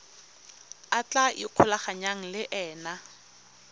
a tla ikgolaganyang le ena